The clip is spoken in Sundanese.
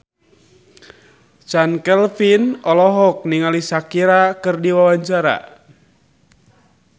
Chand Kelvin olohok ningali Shakira keur diwawancara